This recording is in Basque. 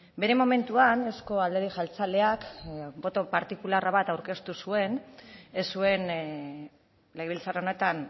bere momentuan euzko alderdi jeltzaleak boto partikularra bat aurkeztu zuen ez zuen legebiltzar honetan